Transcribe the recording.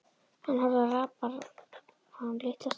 Hann horfði á rabarbarann litla stund.